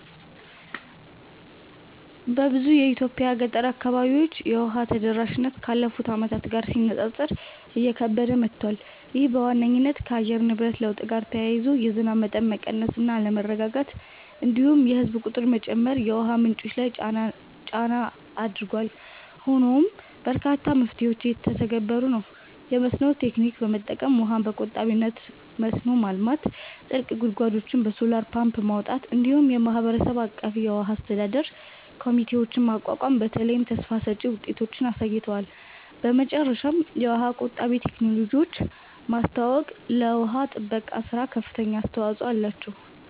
በብዙ የኢትዮጵያ ገጠር አካባቢዎች የውሃ ተደራሽነት ካለፉት ዓመታት ጋር ሲነጻጸር እየከበደ መጥቷል። ይህ በዋነኝነት ከአየር ንብረት ለውጥ ጋር ተያይዞ የዝናብ መጠን መቀነስ እና አለመረጋጋት፣ እንዲሁም የህዝብ ቁጥር መጨመር የውሃ ምንጮች ላይ ጫና ላይ አድርጓል። ሆኖም በርካታ መፍትሄዎች እየተተገበሩ ነው፤ የመስኖ ቴክኒክ በመጠቀም ውሃን በቆጣቢነት መስኖ ማልማት፣ ጥልቅ ጉድጓዶችን በሶላር ፓምፕ ማውጣት፣ እንዲሁም የማህበረሰብ አቀፍ የውሃ አስተዳደር ኮሚቴዎችን ማቋቋም በተለይ ተስፋ ሰጭ ውጤቶችን አሳይተዋል። በመጨረሻም የውሃ ቆጣቢ ቴክኖሎጂዎችን ማስተዋወቅ ለውሃ ጥበቃ ሥራ ከፍተኛ አስተዋጽኦ አላቸው።